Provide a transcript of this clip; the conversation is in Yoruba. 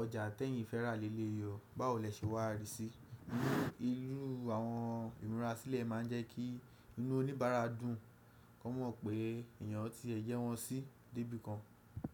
ọjà tẹ̀yìn fẹ́rà léyìí yọ, báwo lẹ ṣe wà rí síí? Irú àwọn ìmúra sílẹ̀ máa ń jẹ́ kí inú oníbàárà dùn, kó mọ̀ pé èèyàn tí ẹ yẹ́ won sí dé bí kan.